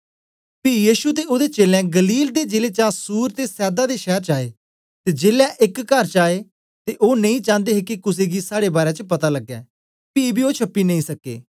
पी यीशु ते ओदे चेलें गलील दे जिले चा सूर ते सैदा दे शैर च आए ते जेलै एक कर च आए ते ओ नेई चान्दे हे के कुसे गी साड़े बारै च पता लगे पी बी ओ छपी नेई सके